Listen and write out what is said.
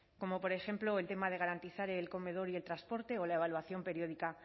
como por ejemplo el tema de garantizar el comedor y el transporte o la evaluación periódica